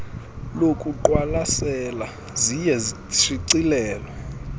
lokuqwalasela ziye zishicilelwe